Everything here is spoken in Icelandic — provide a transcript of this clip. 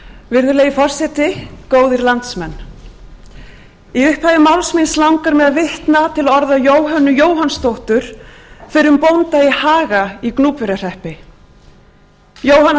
virðulegi forseti góðir landsmenn í upphafi máls míns langar mig að vitna til orða jóhönnu jóhannsdóttur fyrrum bónda í haga í gnúpverjahreppi jóhanna